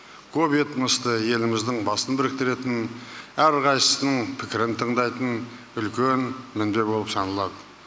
көп этносты еліміздің басын біріктіретін әрқайсысының пікірін тыңдайтын үлкен мінбе болып саналады